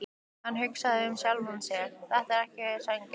Hann hugsaði með sjálfum sér: Þetta er ekki sanngjarnt.